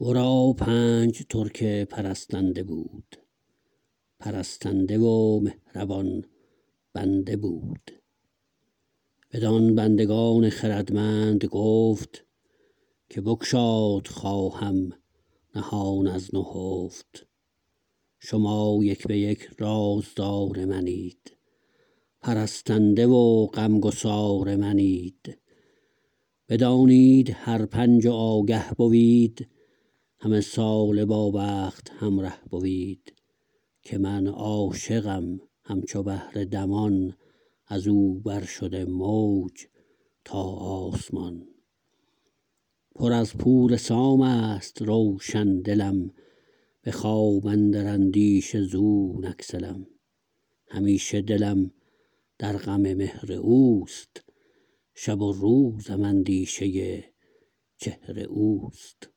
ورا پنج ترک پرستنده بود پرستنده و مهربان بنده بود بدان بندگان خردمند گفت که بگشاد خواهم نهان از نهفت شما یک به یک رازدار منید پرستنده و غمگسار منید بدانید هر پنج و آگه بوید همه ساله با بخت همره بوید که من عاشقم همچو بحر دمان از او بر شده موج تا آسمان پر از پور سامست روشن دلم به خواب اندر اندیشه زو نگسلم همیشه دلم در غم مهر اوست شب و روزم اندیشه چهر اوست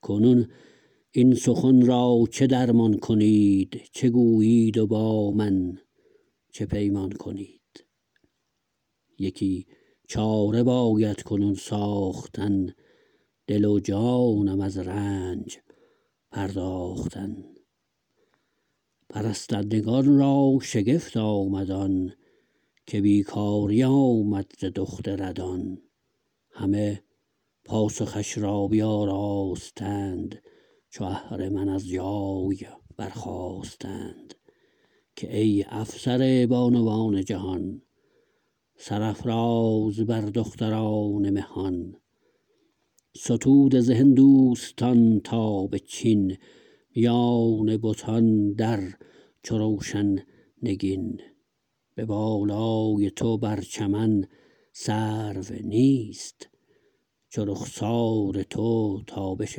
کنون این سخن را چه درمان کنید چه گویید و با من چه پیمان کنید یکی چاره باید کنون ساختن دل و جانم از رنج پرداختن پرستندگان را شگفت آمد آن که بیکاری آمد ز دخت ردان همه پاسخش را بیاراستند چو اهرمن از جای برخاستند که ای افسر بانوان جهان سرافراز بر دختران مهان ستوده ز هندوستان تا به چین میان بتان در چو روشن نگین به بالای تو بر چمن سرو نیست چو رخسار تو تابش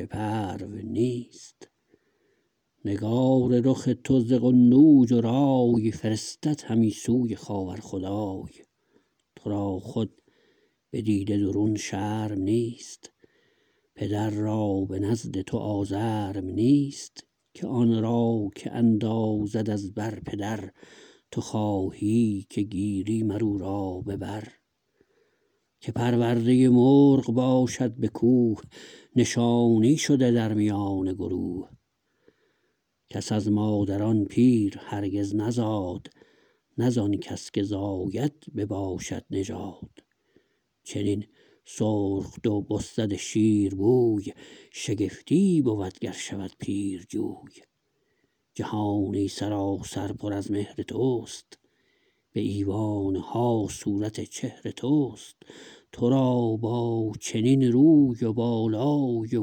پرو نیست نگار رخ تو ز قنوج و رای فرستد همی سوی خاور خدای ترا خود به دیده درون شرم نیست پدر را به نزد تو آزرم نیست که آن را که اندازد از بر پدر تو خواهی که گیری مر او را به بر که پرورده مرغ باشد به کوه نشانی شده در میان گروه کس از مادران پیر هرگز نزاد نه ز آن کس که زاید بباشد نژاد چنین سرخ دو بسد شیر بوی شگفتی بود گر شود پیرجوی جهانی سراسر پر از مهر تست به ایوانها صورت چهر تست ترا با چنین روی و بالای و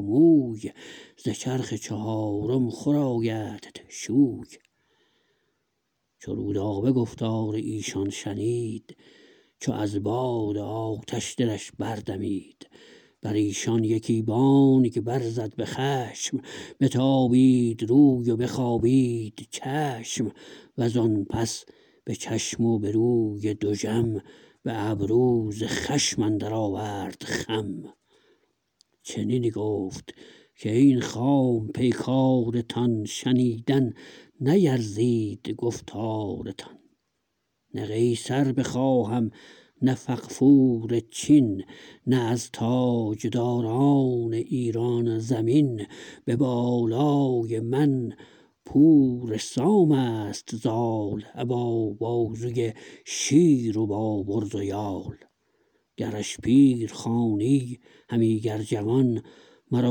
موی ز چرخ چهارم خور آیدت شوی چو رودابه گفتار ایشان شنید چو از باد آتش دلش بردمید بر ایشان یکی بانگ برزد به خشم بتابید روی و بخوابید چشم وز آن پس به چشم و به روی دژم به ابرو ز خشم اندر آورد خم چنین گفت کاین خام پیکارتان شنیدن نیرزید گفتارتان نه قیصر بخواهم نه فغفور چین نه از تاجداران ایران زمین به بالای من پور سامست زال ابا بازوی شیر و با برز و یال گرش پیر خوانی همی گر جوان مرا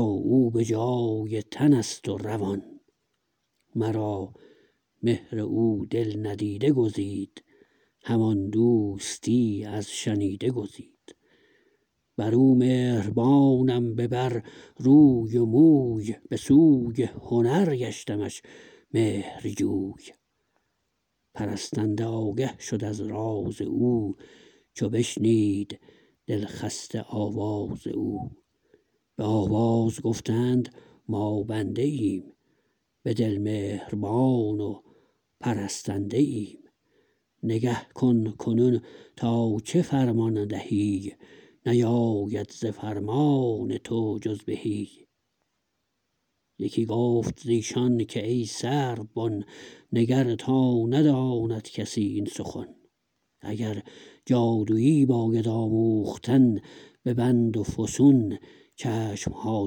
او به جای تنست و روان مرا مهر او دل ندیده گزید همان دوستی از شنیده گزید بر او مهربانم به بر روی و موی به سوی هنر گشتمش مهرجوی پرستنده آگه شد از راز او چو بشنید دل خسته آواز او به آواز گفتند ما بنده ایم به دل مهربان و پرستنده ایم نگه کن کنون تا چه فرمان دهی نیاید ز فرمان تو جز بهی یکی گفت ز ایشان که ای سرو بن نگر تا نداند کسی این سخن اگر جادویی باید آموختن به بند و فسون چشمها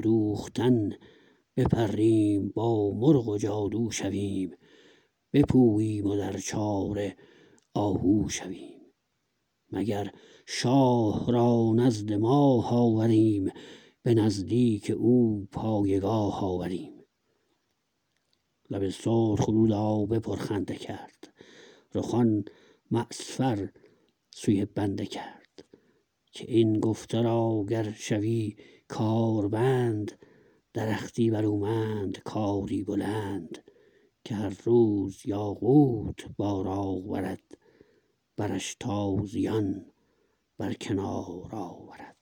دوختن بپریم با مرغ و جادو شویم بپوییم و در چاره آهو شویم مگر شاه را نزد ماه آوریم به نزدیک او پایگاه آوریم لب سرخ رودابه پرخنده کرد رخان معصفر سوی بنده کرد که این گفته را گر شوی کاربند درختی برومند کاری بلند که هر روز یاقوت بار آورد برش تازیان بر کنار آورد